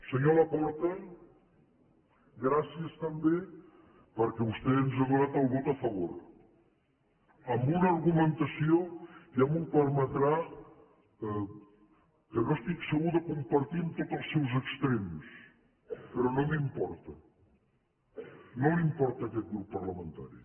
senyor laporta gràcies també perquè vostè ens ha donat el vot a favor amb un argumentació ja m’ho permetrà que no estic segur de compartir en tots els seus extrems però no m’importa no li importa a aquest grup parlamentari